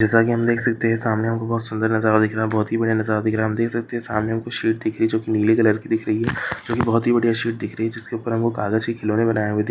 जैसा कि हम देख सकते हैं सामने में हमें बहुत ही सुंदर नजारा दिख रहा है बहुत ही बढ़िया नजारा दिख रहा है हम देख सकते हैं सामने मे कुछ शीट दिख रही है जो कि नीले कलर कि दिख रही है जो कि बहुत ही बढ़िया शीट दिख रही है जिसके ऊपर हमे कागज के खिलोने बनाये हुए दिख --